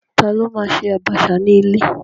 Ta ló ma ṣe àbàṣà ní ilé?